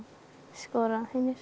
skora hinir